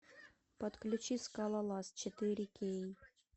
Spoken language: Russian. подключи скалолаз четыре кей